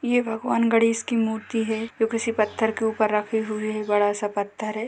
ये भगवान् गणेश की मूर्ति है जो किसी पत्थर के ऊपर रखी हुई है बड़ा सा पत्थर है।